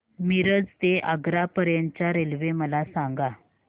मिरज ते आग्रा पर्यंत च्या रेल्वे मला सांगा